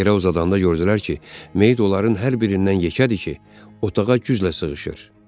Yerə uzadanda gördülər ki, meyit onların hər birindən yekədir ki, otağa güclə sığışır.